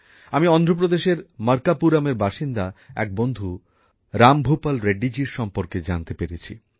আমি অন্ধ্রপ্রদেশের মরকাপুরমের বাসিন্দা এক বন্ধু রামভূপাল রেড্ডিজির সম্বন্ধে জানতে পেরেছি